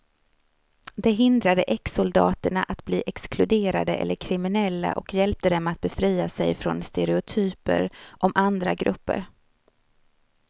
Det hindrade exsoldaterna att bli exkluderade eller kriminella och hjälpte dem att befria sig från stereotyper om andra grupper.